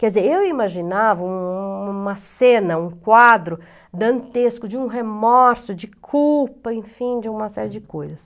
Quer dizer, eu imaginava um uma cena, um quadro dantesco de um remorso, de culpa, enfim, de uma série de coisas.